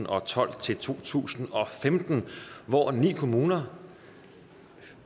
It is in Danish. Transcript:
og tolv til to tusind og femten hvor ni kommuner